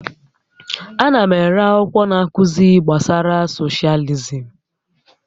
Ana m ere akwụkwọ na-akụzi gbasara socialism